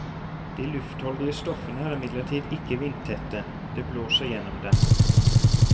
De luftholdige stoffene er imidlertid ikke vindtette, det blåser gjennom dem.